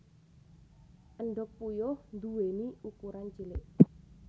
Endhog puyuh nduwèni ukuran cilik